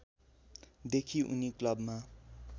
देखि उनी क्लबमा